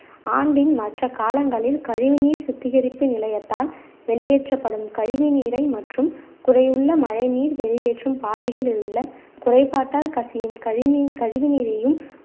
ஆண்டின் மற்ற காலங்களில் கழிவுநீர் சுத்திகரிப்பு நிலையத்தால் வெளியேற்றப்படும் கழிவு நீரை மற்றும் குறையுள்ள மழை நீர் வெளியேற்றும் பாதைகளில் உள்ள குறைபாட்டால் கசியும் கழினின்~ கழிவு நீரையும்